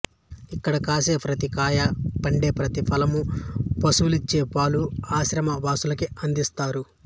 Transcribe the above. ఇక్కడ కాసే ప్రతి కాయా పండే ప్రతి ఫలమూ పశువులు ఇచ్చే పాలు ఆశ్రమ వాసులకే అందిస్తారు